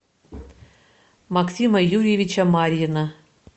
максима юрьевича марьина